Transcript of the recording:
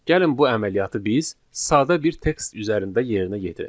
Gəlin bu əməliyyatı biz sadə bir tekst üzərində yerinə yetirək.